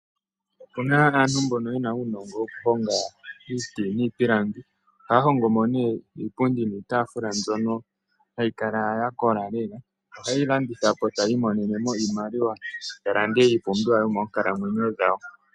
Opuna aantu mbono yena uunongo woku honga iiti niipilangi. Ohaya hongomo ne iipundi niitafula mbyono hayi kala ya kola lela. Oha yeyi landitha po etaya monomo iimaliwa ya lande iipumbiwa yomoonkalamwenyo dhawo.